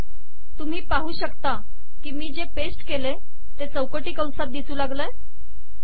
तुम्ही पाहू शकता की मी जे पेस्ट केले ते चौकटी कंसात आले आहे